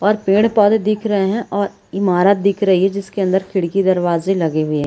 और पेड़-पौधे दिख रहे हैं और इमारत दिख रही है जिसके अंदर खिड़की दरवाजे लगे हुए है।